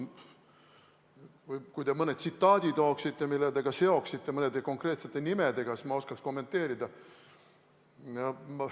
Kui te tooksite mõne tsitaadi, mille te seoksite ja mõnede konkreetsete nimedega, siis ma oskaks kommenteerida.